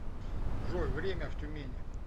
джой время в тюмени